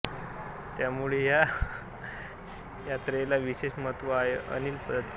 त्यामुळे या यात्रेला विशेष महत्त्व आहे अनिल दातीर